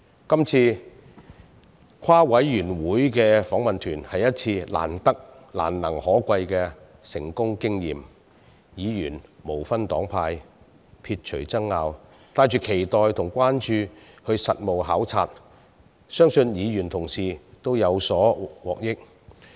今次的聯席事務委員會訪問團是一次難能可貴的成功經驗，議員無分黨派，撇除爭拗，帶着期待及關注進行實務考察，相信議員同事們都有獲益。